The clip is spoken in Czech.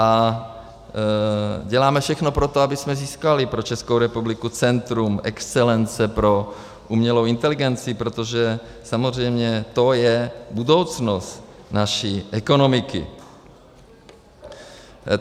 A děláme všechno pro to, abychom získali pro Českou republiku centrum excelence pro umělou inteligenci, protože samozřejmě to je budoucnost naší ekonomiky.